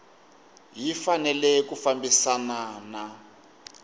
yi fanele ku fambisana na